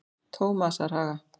Tómasarhaga